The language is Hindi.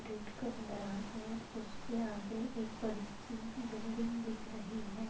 गेट और उसके आगे एक बडीसी बिल्डिंग दिख रही है।